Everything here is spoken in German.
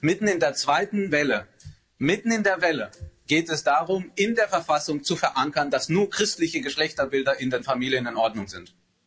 Nun, mitten in der zweiten Welle, mitten in der Welle, geht es darum, in der Verfassung zu verankern, dass nur christliche Geschlechterbilder in den Familien in Ordnung sind.